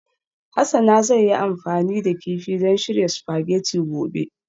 Hasana zai yi amfani da kifi don shirya spaghetti gobe